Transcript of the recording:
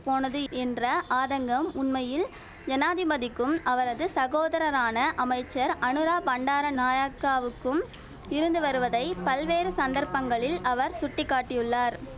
போனது என்ற ஆதங்கம் உண்மையில் ஜனாதிபதிக்கும் அவரது சகோதரரான அமைச்சர் அநுரா பண்டார நாயக்காவுக்கும் இருந்து வருவதை பல்வேறு சந்தர்ப்பங்களில் அவர் சுட்டி காட்டியுள்ளார்